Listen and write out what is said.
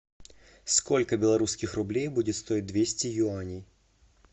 сколько белорусских рублей будет стоить двести юаней